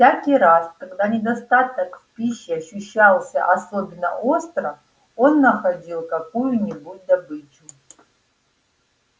всякий раз когда недостаток в пище ощущался особенно остро он находил какую-нибудь добычу